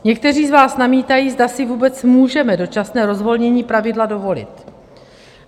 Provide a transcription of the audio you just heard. Někteří z vás namítají, zda si vůbec můžeme dočasné rozvolnění pravidla dovolit.